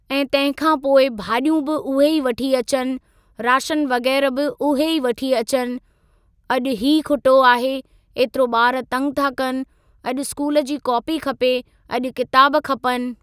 ऐ तंहिं खां पोइ भाॼियूं बि उहे ई वठी अचनि राशन वग़ैरह बि उहे ई वठी अचनि अॼु ई खुटो आहे ऐतिरो ॿार तंग था कनि अॼु स्कूल जी कॉपी खपे अॼु किताब खपनि।